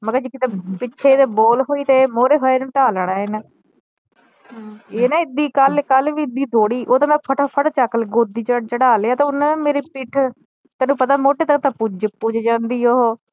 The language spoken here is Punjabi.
ਮੈ ਕਿਹਾ ਜੇ ਕਿਤੇ ਪਿੱਛੇ ਏਦੇ ਬਾਲ ਹੋਈ ਤੇ ਇਹ ਮੋਰੇ ਹੋਇਆ ਇਹਨੂੰ ਢਾਹ ਲੈਣੇ ਇਹਨੇ ਇਹ ਨਾ ਏਦਾਂ ਈ ਕਲ ਕਲ ਵੀ ਏਦਾਂ ਈ ਦੌੜੀ ਉਹ ਤਾ ਮੈ ਫਟਾ ਫਟ ਚਕਲਿਆਂ ਗੋਦੀ ਚੜ੍ਹਾ ਲਿਆ ਤੇ ਓਹਨੇ ਨਾ ਮੇਰੀ ਪਿੱਠ ਤੈਨੂੰ ਪਤਾ ਮੋਢੇ ਤਕ ਤਾ ਪੁੱਜ ਜਾਂਦੀ ਉਹ